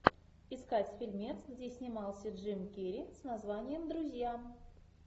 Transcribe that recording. искать фильмец где снимался джим керри с названием друзья